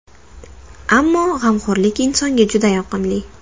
Ammo g‘amxo‘rlik insonga juda yoqimli.